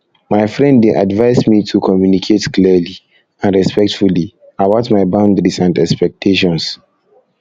my friend dey advise me to communicate clearly and respectfully about my boundaries and expectations